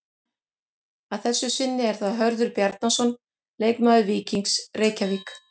Að þessu sinni er það Hörður Bjarnason leikmaður Víkings Reykjavík.